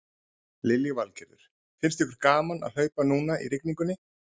Lillý Valgerður: Finnst ykkur gaman að hlaupa núna í rigningunni?